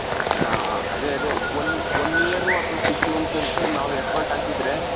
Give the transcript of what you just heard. ಹ ಹ ಅದೇ ಅದೇ one one year ಅಥವಾ six months ಅಷ್ಟು ನಾವ್ effort ಹಾಕಿದ್ರೆ.